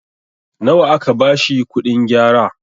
nawa aka bashi kuɗin gyara?